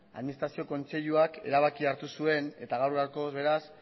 administrazio kontseiluak erabakia hartu zuen eta gaur gaurkoz beraz